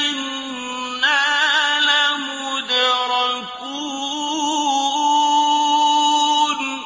إِنَّا لَمُدْرَكُونَ